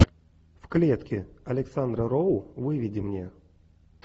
в клетке александра роу выведи мне